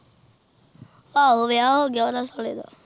ਆਹੋ ਵਿਆਹ ਹੋਗਿਆ ਓਹਦਾ ਸਾਲੇ ਦਾ